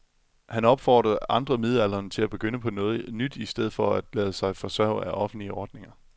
Han opfordrer andre midaldrende til at begynde på noget nyt i stedet for at lade sig forsørge af offentlige ordninger.